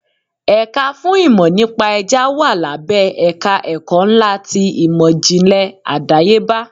Ẹ̀ka fún ìmò nípa Ẹja wà lábẹ́ ẹ̀ka ẹ̀kọ́ ńlá ti ìmò ìjìnlẹ̀ àdáyébá.